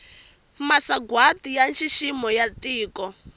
masagwati ya nxiximo ya tiko